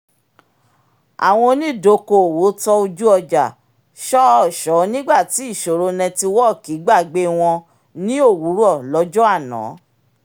àwọn onídokoowó tọ́ ojú-ọjà ṣọ́ọ̀ṣọ́ nígbà tí ìṣòro nẹ́tíwọ̀ọ̀kì gbàgbé wọ́n ni òwúrọ̀ lọ́jọ́ àná